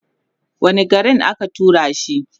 wani garin aka turashi